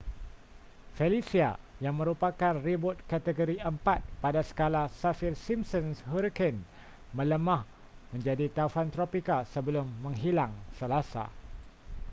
felicia yang merupakan ribut kategori 4 pada skala saffir-simpson hurricane melemah menjadi taufan tropika sebelum menghilang selasa